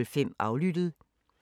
DR1